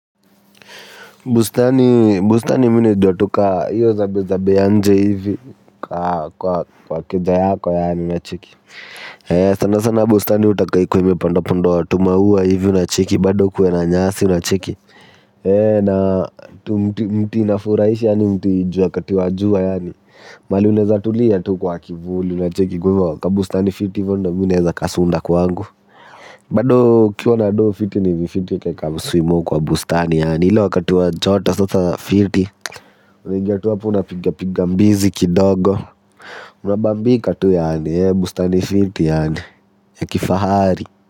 Bustani mwine dwa tuka hiyo zabe zabe anje hivi kwa keja yako yaani unacheki. Sana sana bustani utakaikwe mpandapundo watumaua hivi unacheki bado kue na nyasi unacheki. Na mti inafuraisha yaani mti jua kati wa jua yaani Mali uneza tulia tu kwa kivuli unacheki kwa wakabustani fiti vondo mwineza kasunda kwa wangu Mbadoo kiuwa na aduo fiti ni vifiti ya keka suimu kwa bustani yaani ilo wakatuwa jota sotha fiti. Unigiatuwa puna piga piga mbizi kidogo. Unabambika tu yaani ya bustani fiti yaani ya kifahari.